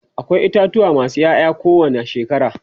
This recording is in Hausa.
akwai itatuwa masu Yaya ko wani shekara